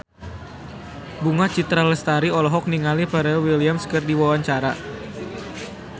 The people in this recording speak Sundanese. Bunga Citra Lestari olohok ningali Pharrell Williams keur diwawancara